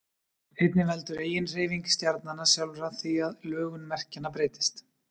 einnig veldur eiginhreyfing stjarnanna sjálfra því að lögun merkjanna breytist